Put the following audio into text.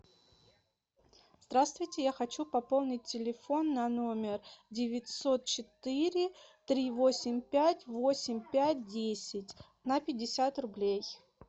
здравствуйте я хочу пополнить телефон на номер девятьсот четыре три восемь пять восемь пять десять на пятьдесят рублей